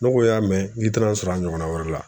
Ne ko y'a mɛn n k'i tana sɔrɔ a ɲɔgɔnna wɛrɛ la